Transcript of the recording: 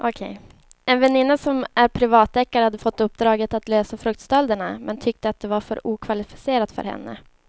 En väninna som är privatdeckare hade fått uppdraget att lösa fruktstölderna men tyckte att det var för okvalificerat för henne.